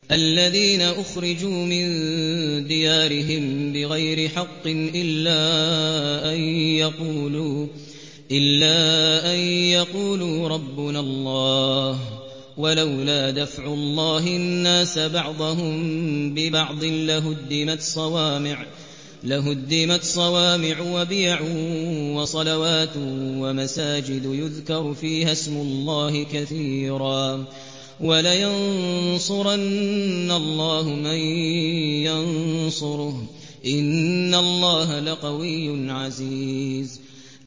الَّذِينَ أُخْرِجُوا مِن دِيَارِهِم بِغَيْرِ حَقٍّ إِلَّا أَن يَقُولُوا رَبُّنَا اللَّهُ ۗ وَلَوْلَا دَفْعُ اللَّهِ النَّاسَ بَعْضَهُم بِبَعْضٍ لَّهُدِّمَتْ صَوَامِعُ وَبِيَعٌ وَصَلَوَاتٌ وَمَسَاجِدُ يُذْكَرُ فِيهَا اسْمُ اللَّهِ كَثِيرًا ۗ وَلَيَنصُرَنَّ اللَّهُ مَن يَنصُرُهُ ۗ إِنَّ اللَّهَ لَقَوِيٌّ عَزِيزٌ